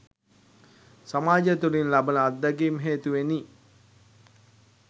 සමාජය තුළින් ලබන අත්දැකීම් හේතුවෙනි.